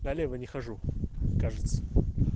налево не хожу кажется